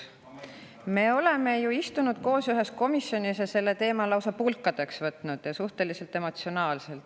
Me oleme ju istunud koos ühes komisjonis, selle teema lausa pulkadeks võtnud ja suhteliselt emotsionaalselt.